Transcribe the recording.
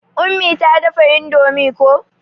Ummi ta iya dafa indomie ko.